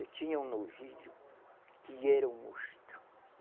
Eu tinha um novilho que era um monstro.